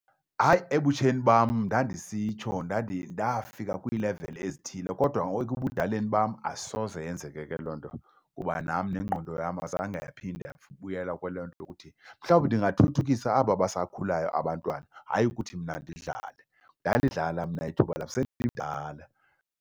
Hayi, ebutsheni bam ndandisitsho, ndafika kwiileveli ezithile. Kodwa ngoku ebudaleni bam asoze yenzeke ke loo nto kuba nam nengqondo yam azange yaphinda yabuyela kuloo nto lokuthi. Mhlawumbi ndingathuthukisa aba basakhulayo abantwana hayi ukuthi mna ndidlale. Ndandidlala mna ithuba lam, sendimdala.